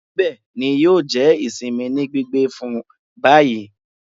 Nibẹ ni yio jẹ isinmi ni gbigbe fun bayi